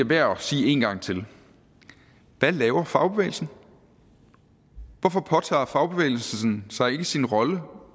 værd at sige en gang til hvad laver fagbevægelsen hvorfor påtager fagbevægelsen sig ikke i sin rolle